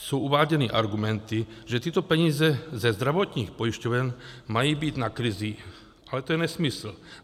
Jsou uváděny argumenty, že tyto peníze ze zdravotních pojišťoven mají být na krizi, ale to je nesmysl.